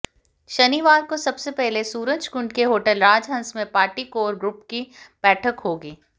शनिवार को सबसे पहले सूरजकुंड के होटल राजहंस में पार्टी कोर ग्रुप की बैठक होगी